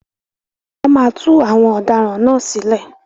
Wọ́n máa tú àwọn ọ̀daràn náà sílẹ̀.